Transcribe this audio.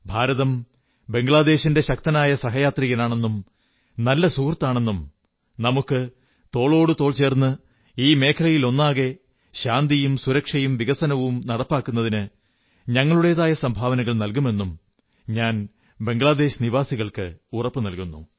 ഭാരതം ബംഗ്ളാദേശിന്റെ ശക്തനായ സഹയാത്രികനാണെന്നും നല്ല സുഹൃത്താണെന്നും നമുക്ക് തോളോടുതോൾ ചേർന്ന് ഈ മേഖലയിലൊന്നാകെ ശാന്തിയും സുരക്ഷയും വികസനവും നടപ്പാക്കുന്നതിന് ഞങ്ങളുടേതായ സംഭാവനകൾ നല്കുമെന്നും ഞാൻ ബംഗ്ളാദേശ് നിവാസികൾക്ക് ഉറപ്പു നല്കുന്നു